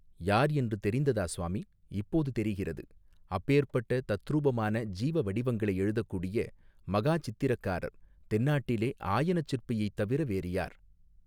யார் என்று தெரிந்ததா சுவாமி இப்போது தெரிகிறது அப்பேர்ப்பட்ட தத்ரூபமான ஜீவ வடிவங்களை எழுதக்கூடிய மகா சித்திரக்காரர் தென்னாட்டிலே ஆயனச் சிற்பியைத் தவிர வேறு யார்.